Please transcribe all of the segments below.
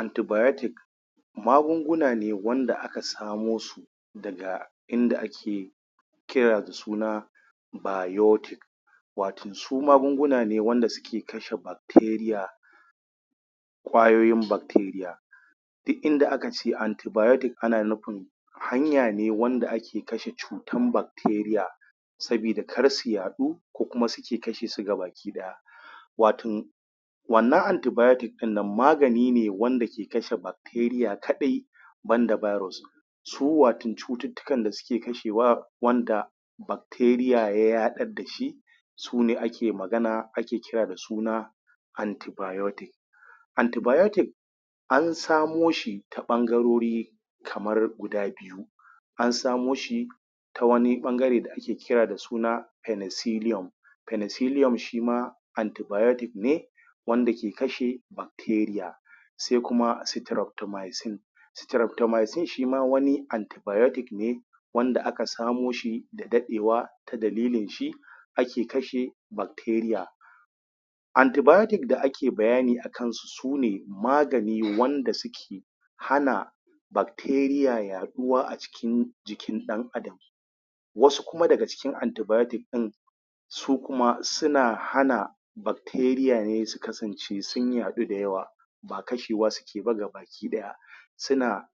Antibiotic magunguna ne wanda aka samo su daga inda ake kira da suna biotic watan su magunguna ne wanda suke kashe bacteria ƙwayoyin bacteria dik inda akace antibiotic ana nufin hanya ne wanda ake kashe cutan bac.. teria sabida kar su yaɗu ko kuma suke kashe su ga baki ɗaya watan wannan antibiotic ɗin nan magani ne wanda yake kashe bac teria kaɗai banda virus su watan cututtukan da suke kashewa wanda bacteria ya yaɗar dashi sune ake magana ake kira da suna antibiotic antibiotic an samo shi ta ɓangarori kamar guda biyu an samo shi ta wani ɓangare da ake kira da suna pennicilium pennicilium shima antibiotic ne wanda ke kashe bacteria sai kuma strophtomycine strophtomycine shima wani anti biotic ne wanda aka samo shi da daɗewa ta dalilin shi ake kashe bacteria antibiotic da ake bayani akan su su ne magani ne wanda suke hana bac teria yaɗuwa a cikin jikin ɗan adam wasu kuma daga cikin antibiotic ɗin su kuma suna hana bacteria ne su kasance sun yaɗu da yawa ba kashewa suke ba gaba ɗaya suna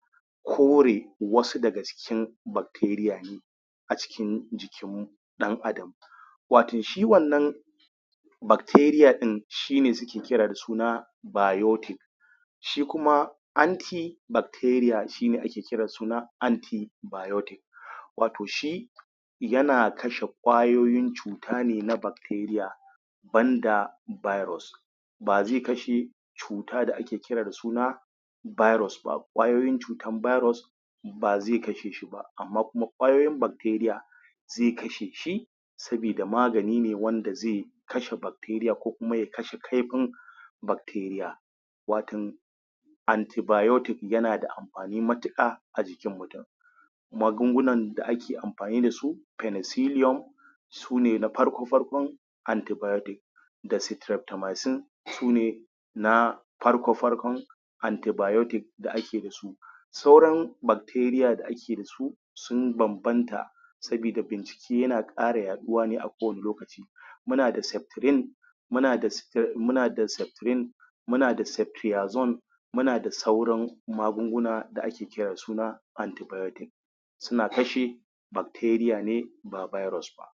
kore wasu daga ci kin bacteria a cikin jikin ɗan adam watan shi wannan bacteria ɗin shi ne suke kira da suna biotic shi kuma anti bac teria, shi ne ake kira da suna antibiotic wato shi yana kashe ƙwayoyin cu ta ne na bacteria ban da virus ba zai kashe cuta da ake kira da suna virus ba ƙwayoyin cutan virus ba zai kashe shi ba, amma kuma ƙwayoyin bacteria zai kashe shi sabida magani ne wanda zai kashe bacteria ko kuma ya kashe kaifin bacteria watan antibiotic yana da am fani matuƙa a jikin mutun magungunan da ake amfani dasu pennicilium sune na farko-farkon antibiotic da strephtomycine sune na farko-farkon antibiotic da ake dasu sauran bacteria da ake dasu sun banbanta sabida shi yana ƙara yaɗuwa ne a ko wane lokaci muna da septrin muna da muna da septrin muna da sep triazone muna da sauran magunguna da ake kira da suna antibiotic suna kashe bacteria ne ba virus ba.